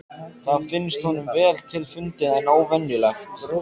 Það finnst honum vel til fundið en óvenjulegt.